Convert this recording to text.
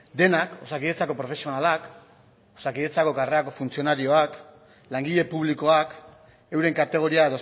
denak osakidetzako profesionalak osakidetzako karrerako funtzionarioak langile publikoak euren kategoria